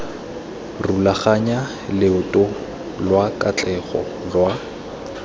rulaganya loeto lwa katlego lwa